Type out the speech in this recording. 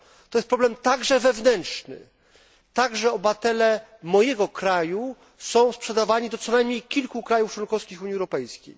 To jest problem także wewnętrzny. Także obywatele mojego kraju są sprzedawani do co najmniej kilku krajów członkowskich Unii Europejskiej.